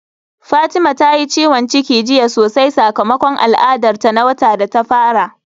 Fatima ta yi ciwon ciki jiya sosai sakamakon al'adar ta na wata da ta fara.